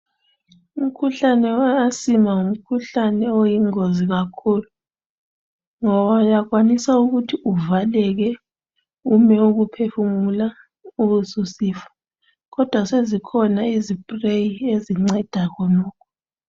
Umkhuhlane we asima ngumkhuhlane oyingozi kakhulu ngoba uyakwanisa ukuthi uvaleke ume ukuphefumula ubesusifa kodwa sezikhona izi spray ezinceda khonokho.